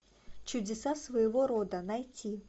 чудеса своего рода найти